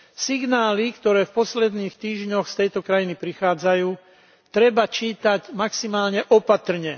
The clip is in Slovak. Signály, ktoré v posledných týždňoch z tejto krajiny prichádzajú, treba čítať maximálne opatrne.